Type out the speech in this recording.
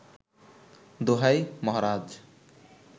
দোহাই মাহরাজ